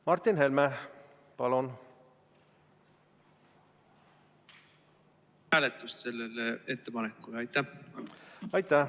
Martin Helme, palun!